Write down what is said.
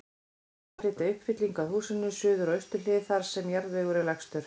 Byrjað að flytja uppfyllingu að húsinu, suður og austur hlið, þar sem jarðvegur er lægstur.